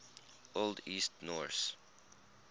old east norse